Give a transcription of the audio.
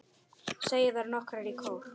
segja þær nokkrar í kór.